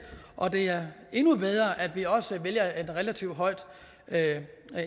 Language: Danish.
og det er endnu bedre at vi også vælger et relativt højt